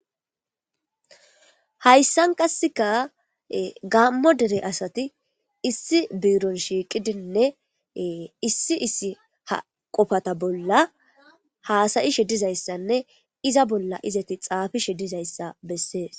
hayssan qasseka gaammo dere asati issi biiron shiiqidinne issi issi ha qofata bolla haasayishe dizayssanne iza bolla izati xaafishe dizayssa bessees